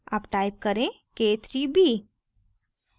अब type करें k3b